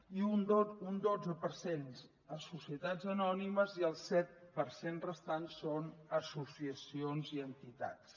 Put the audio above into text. i un dotze per cent a societats anònimes i el set per cent restant són associacions i entitats